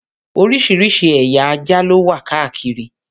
Oríṣiríṣi ẹ̀ya ajá ló wà káàkiri.